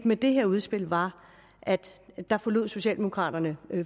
med det her udspil var at der forlod socialdemokraterne